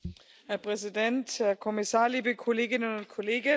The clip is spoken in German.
Herr Präsident, Herr Kommissar, liebe Kolleginnen und Kollegen!